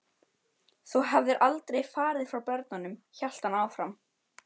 Þú hefðir aldrei farið frá börnunum, hélt hann áfram.